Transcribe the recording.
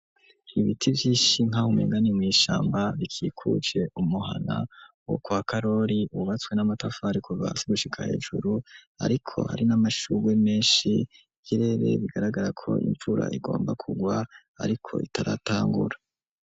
Ibiti vyinshi, nk’aho umenga ni mw’ishamba; bikikuje umuhana, wo kwa Karori, wubatswe n'amatafari kuva hasi, gushika hejuru; ariko, hari n'amashurwe menshi; ikirere, bigaragara ko, imvura igomba kugwa, ariko itaratangura.